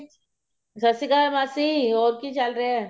ਸਤਿ ਸ਼੍ਰੀ ਅਕਾਲ ਮਾਸੀ ਹੋਰ ਕੀ ਚੱਲ ਰਿਹਾ